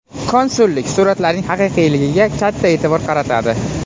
Konsullik suratlarning haqiqiyligiga katta e’tibor qaratadi.